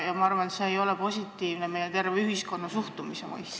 Ma arvan, et see ei ole positiivne meie terve ühiskonna suhtumise mõistes.